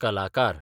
कलाकार